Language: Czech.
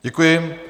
Děkuji.